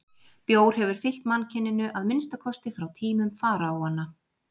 Bjór hefur fylgt mannkyninu að minnsta kosti frá tímum faraóanna.